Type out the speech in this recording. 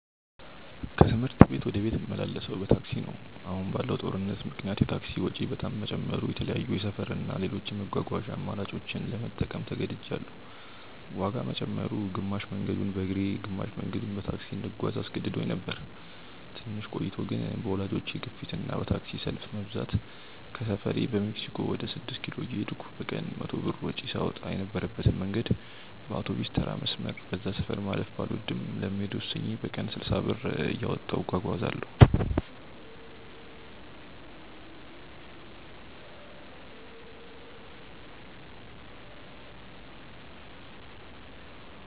ከትምህርት ቤት ወደ ቤት ምመላለሰው በታክሲ ነው። አሁን ባለው ጦርነት ምክንያት የታክሲ ወጪ በጣም መጨመሩ የተለያዩ የሰፈር እና ሌሎች የመጓጓዣ አማራጮችን ለመጠቀም ተገድጅያለው። ዋጋ መጨመሩ፣ ግማሽ መንገዱን በእግሬ ግማሽ መንገዱን በታክሲ እንድጓዝ አስገድዶኝ ነበር። ትንሽ ቆይቶ ግን በወላጆቼ ግፊት እና በታክሲ ሰልፍ መብዛት ከሰፈሬ በሜክሲኮ ወደ ስድስት ኪሎ እየሄድኩ በቀን 100 ብር ወጪ ሳወጣ የነበረበትን መንገድ በአውቶቢስተራ መስመር (በዛ ሰፈር ማለፍ ባልወድም) ለመሄድ ወስኜ በቀን 60 ብር እያወጣሁ እጓጓዛለው።